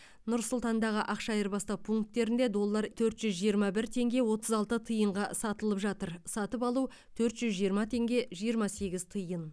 нұр сұлтандағы ақша айырбастау пункттерінде доллар төрт жүз жиырма бір теңге отыз алты тиынға сатылып жатыр сатып алу төрт жүз жиырма теңге жиырма сегіз тиын